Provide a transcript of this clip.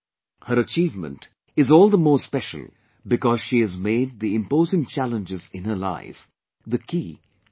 Her achievement is all the more special because she has made the imposing challenges in her life the key to her success